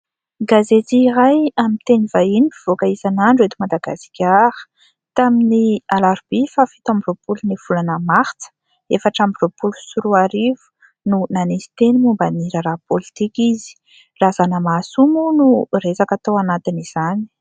Gazety iray amin'ny teny vahiny, mpivoaka isanandro eto Madagasikara. Tamin'ny alarobia faha fito amby roapolon'ny volana martsa, efatra amby roapolo sy roa arivo no nanisy teny momba ny raharaha pôlitika izy. Razanamahasoa moa no resaka tao anatin'izany.